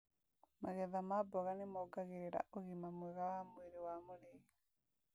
Magetha ma mboga nĩmongagĩrĩra ũgima mwega wa mwĩrĩ wa mũrĩi